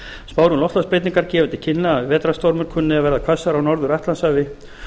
spár um loftslagsbreytingar gefa til kynna að vetrarstormar kunni að verða hvassari á norður atlantshafi